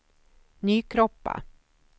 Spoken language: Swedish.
Nykroppa